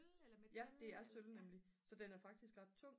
ja det er sølv nemlig så den er faktisk ret tung